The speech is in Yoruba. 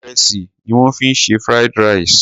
Ìrẹsì ni wọ́n fi se Fried rice.